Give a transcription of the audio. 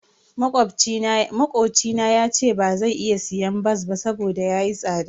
Makocina yace bazai iya siyan bas ba saboda yayi tsada.